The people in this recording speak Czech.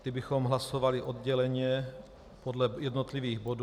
Ty bychom hlasovali odděleně podle jednotlivých bodů.